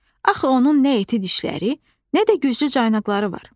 Axı onun nə iti dişləri, nə də güclü caynaqları var.